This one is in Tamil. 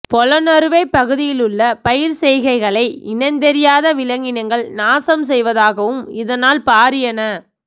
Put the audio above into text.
பொலன்னறுவை பகுதியிலுள்ள பயிர்ச்செய்கைகளை இனந்தெரியாத விலங்கினங்கள் நாசம் செய்வதாகவும் இதனால் பாரிய ந